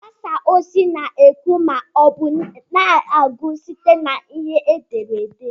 Ndị mgbasa ozi na-ekwu ma ọ bụ na-agụ site na ihe ederede.